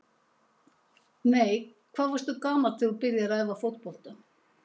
Nei Hvað varstu gamall þegar þú byrjaði að æfa fótbolta?